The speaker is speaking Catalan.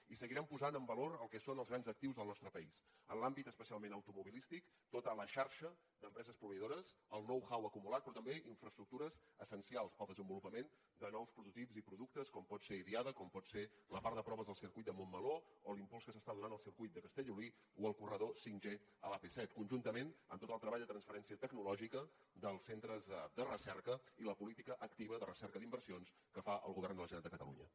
i seguirem posant el valor el que són els grans actius del nostre país en l’àmbit especialment automobilístic tota la xarxa d’empreses proveïdores el know how acumulat però també infraestructures essencials per al desenvolupament de nous prototips i productes com pot ser idiada com pot ser la part de proves del circuit de montmeló o l’impuls que s’està donant al circuit de castellolí o al corredor 5g a l’ap set conjuntament amb tot el treball de transferència tecnològica dels centres de recerca i la política activa de recerca d’inversions que fa el govern de la generalitat de catalunya